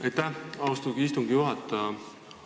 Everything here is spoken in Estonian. Aitäh, austatud istungi juhataja!